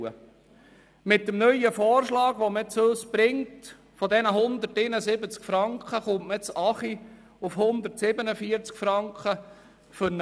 Man bringt uns den Vorschlag einer Reduktion von 171 Franken auf 140 Franken pro UMA.